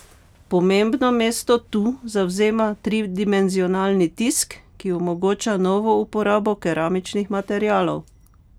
Pomembno mesto tu zavzema tridimenzionalni tisk, ki omogoča novo uporabo keramičnih materialov.